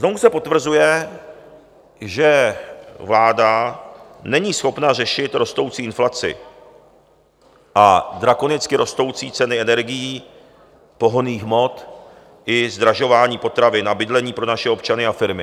Znovu se potvrzuje, že vláda není schopna řešit rostoucí inflaci a drakonicky rostoucí ceny energií pohonných hmot i zdražování potravin a bydlení pro naše občany a firmy.